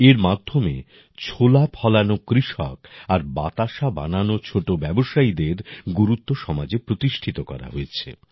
এর মাধ্যমে ছোলা ফলানো কৃষক আর বাতাসা বানানো ছোট ব্যবসায়ীদের গুরুত্ব সমাজে প্রতিষ্ঠিত করা হয়েছে